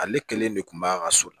Ale kelen de kun b'a ka so la